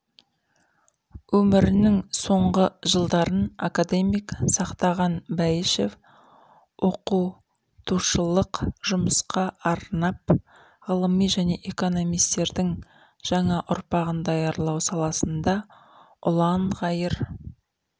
өмірінің соңғы жылдарын академик сақтаған бәйішев оқутышылық жұмысқа арнап ғылыми және экономистердің жаңа ұрпағын даярлау саласында ұланғайыр